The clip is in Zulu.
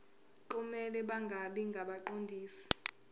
kumele bangabi ngabaqondisi